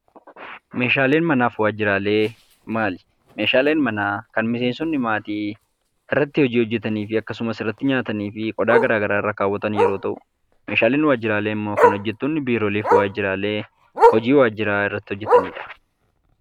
Meeshaaleen manaaf waajjiraalee maali? meeshaaleen manaa kan miseensonni maatii irratti hojii hojjetanii fi akkasumas irratti nyaatanii fi qodaa garaa garaa irra kaawwatan yeroo ta'u meeshaaleen waajjiraalee immoo kan hojjettoonni biirooleef waajjiraalee hojii waajjiraa irratti hojjetaniidha.